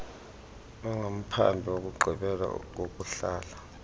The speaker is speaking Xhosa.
ongamphambi kokugqibela kokuhlala